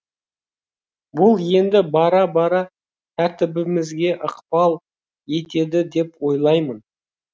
бұл енді бара бара тәртібімізге ықпал етеді деп ойлаймын